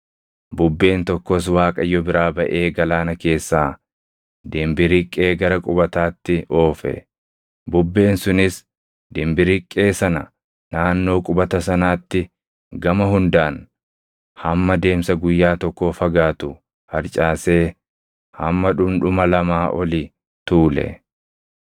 Bubbeen tokkos Waaqayyo biraa baʼee galaana keessaa dimbiriqqee gara qubataatti oofe. Bubbeen sunis dimbiriqqee sana naannoo qubata sanaatti gama hundaan hamma deemsa guyyaa tokkoo fagaatu harcaasee hamma dhundhuma lamaa oli tuule.